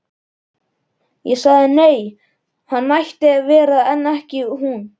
Ég sagði nei, hann mætti vera en ekki hún.